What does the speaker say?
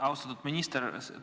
Austatud minister!